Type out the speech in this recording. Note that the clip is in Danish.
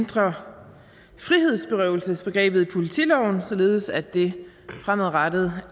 ændrer frihedsberøvelsesbegrebet i politiloven således at det fremadrettet